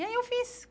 E aí eu fiz.